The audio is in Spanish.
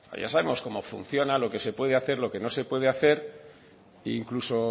ya sabemos cómo funciona lo que se puede hacer lo que no se puede hacer e incluso